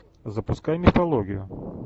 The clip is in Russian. запускай мифологию